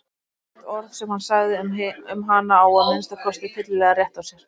Hvert orð sem hann sagði um hana á að minnsta kosti fyllilega rétt á sér.